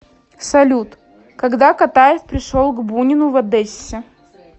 салют когда катаев пришел к бунину в одессе